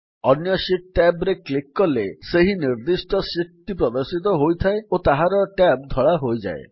ଅନ୍ୟ sheet tab ରେ click କଲେ ସେହି ନିର୍ଦ୍ଦିଷ୍ଟ ଶିଟ୍ ଟି ପ୍ରଦର୍ଶିତ ହୋଇଥାଏ ଓ ତାହାର ଟ୍ୟାବ୍ ଧଳା ହୋଇଯାଏ